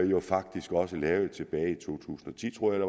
jo faktisk også lavede tilbage i to tusind og ti tror jeg